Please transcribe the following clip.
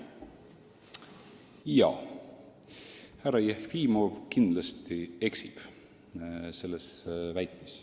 Härra Jefimov kindlasti eksib niimoodi väites.